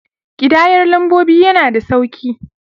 Ƙidayar lambobi yana da sauki.